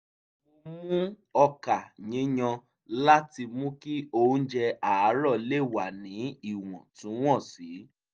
mo mú ọkà yíyan láti mú kí oúnjẹ àárọ̀ lè wà ní ìwọ̀ntúnwọ̀nsì